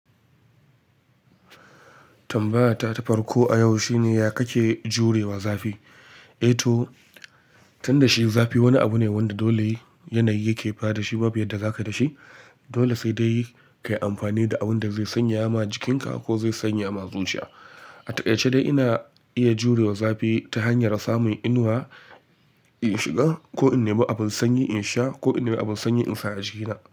Tambaya ta ta farko a yau shine ya kake jurewa zafi? Eh to, tunda shi zafi wani abu ne wanda dole yanayi yake fada, shi babu yadda zaka dashi. Dole sai dai kayi amfani da abun da zai sanya ma jikinka ko zai sanya ma zuciya. A taƙaice dai ina iya jurewa zafi ta hanyar samun inuwa in shiga ko in neme abun sanyi in sha ko in neme abun sanyi in sa a jikina.